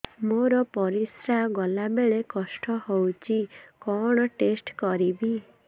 ମୋର ପରିସ୍ରା ଗଲାବେଳେ କଷ୍ଟ ହଉଚି କଣ ଟେଷ୍ଟ କରିବି